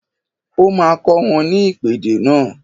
O máa kọ́ wọn ní ìpèdè náà